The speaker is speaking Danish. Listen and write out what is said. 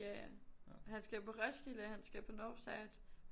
Ja ja han skal på Roskilde han skal på Northside